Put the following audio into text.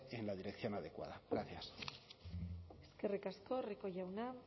en la dirección adecuada gracias eskerrik asko rico jauna